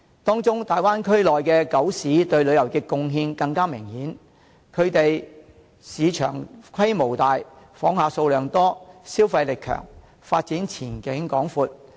當中大灣區內九市對旅遊業貢獻更為明顯，它們市場規模大，訪客數量多，消費力強，發展前景廣闊。